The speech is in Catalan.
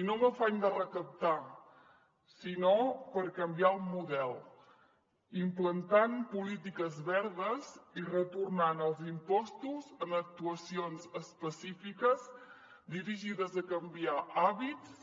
i no amb afany de recaptar sinó per canviar el model implantant polítiques verdes i retornant els impostos en actuacions específiques dirigides a canviar hàbits